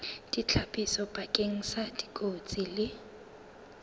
ditlhapiso bakeng sa dikotsi le